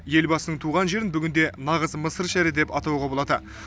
елбасының туған жерін бүгінде нағыз мысыр шәрі деп атауға болады